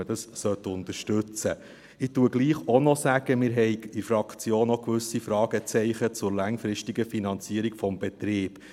Ich sage trotzdem auch noch: Wir haben in der Fraktion gewisse Fragezeichen zur langfristigen Finanzierung des Betriebs.